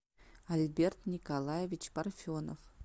альберт николаевич парфенов